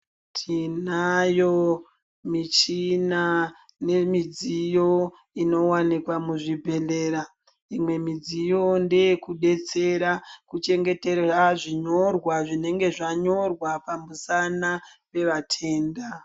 Tinayo michina nemidziyo inowanikwa muzvibhedhlera. Imwe midziyo ndeyekubetsera kuchengetera zvinyorwa zvinenge zvanyorwa pamusana wevatenda.